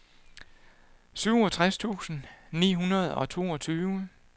syvogtres tusind ni hundrede og toogtyve